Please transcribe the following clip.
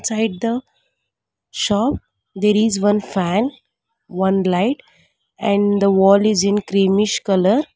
right the shop there is one fan one light and the wall is in cremish colour.